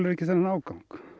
ekki þennan ágang